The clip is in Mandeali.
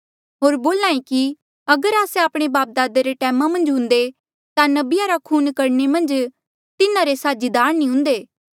होर बोल्हा ऐें कि अगर आस्से आपणे बापदादा रे टैमा मन्झ हुन्दे ता नबिया रा खून करणे मन्झ तिन्हारे साझीदार नी हुन्दे